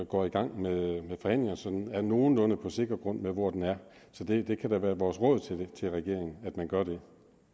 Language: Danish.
går i gang med forhandlinger så den er på nogenlunde sikker grund hvor den er så det kan da være vores råd til regeringen at den gør det